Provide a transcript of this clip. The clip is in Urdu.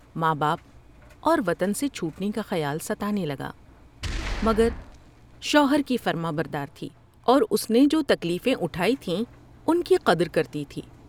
ماں باپ اور وطن سے چھوٹنے کا خیال ستانے لگا مگر شوہر کی فرماں بردار تھی اور اس نے جو تکلیفیں اٹھائی تھیں ان کی قدر کرتی تھی ۔